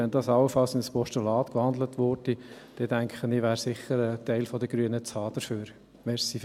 Wenn in ein Postulat gewandelt würde, wäre sicher ein Teil der Grünen für ein solches zu haben.